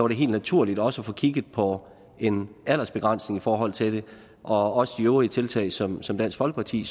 det helt naturligt også at få kigget på en aldersbegrænsning i forhold til det og også de øvrige tiltag som som dansk folkeparti